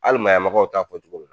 Halimayamagaw t'a k'o cogo la!